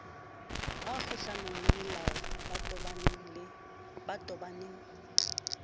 ba kgohlanong lemolao ba tobaneng